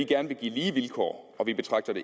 gerne give lige vilkår og vi betragter